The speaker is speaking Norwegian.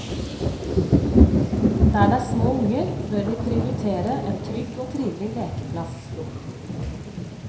Der det er små unger, bør vi prioritere en trygg og trivelig lekeplass.